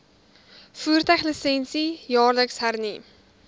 voertuiglisensie jaarliks hernu